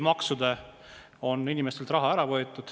Maksudena on inimestelt raha ära võetud.